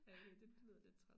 Jeg okay det det lyder lidt træls